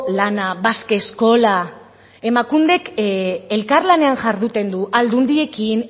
lana basqueskola emakundek elkarlanean jarduten du aldundiekin